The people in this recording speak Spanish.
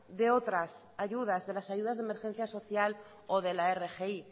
de otras ayudas de las ayudas de emergencia social o de la rgi